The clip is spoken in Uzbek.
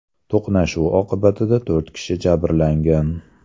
To‘qnashuv oqibatida to‘rt kishi jabrlangan.